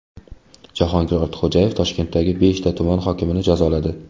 Jahongir Ortiqxo‘jayev Toshkentdagi beshta tuman hokimini jazoladi.